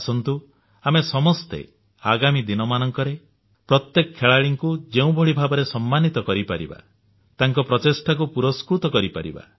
ଆସନ୍ତୁ ଆମେ ସମସ୍ତେ ଆଗାମୀ ଦିନମାନଙ୍କରେ ପ୍ରତ୍ୟେକ ଖେଳାଳିଙ୍କୁ ଯେଉଁଭଳି ଭାବରେ ସମ୍ମାନୀତ କରିପାରିବା ତାଙ୍କ ପ୍ରଚେଷ୍ଟାକୁ ପୁରସ୍କୃତ କରିପାରିବା